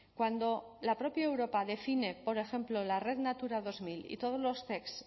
cuando la propia europa define por ejemplo la red natura dos mil y todos los cec